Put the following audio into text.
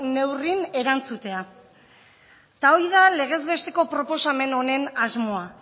neurrin erantzutea eta hori da legez besteko proposamen honen asmoa